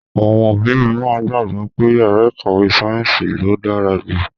Àwọn òbí mìíràn gbàgbọ́ pé yàrá ìkàwé sáyẹ́ǹsì ló dára jù.